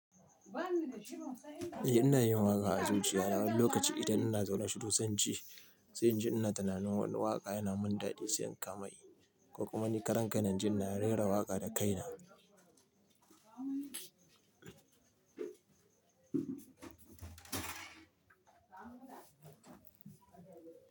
Eh ina yin waƙa a zuciya na wani lokaci idan ina zaune shiru sai ince, sai in ji ina tunanin wani waƙa yana min daɗi sai in kama yi, ko kuma ni karen kaina inji ina rera waƙa da kaina.